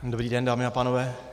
Dobrý den, dámy a pánové.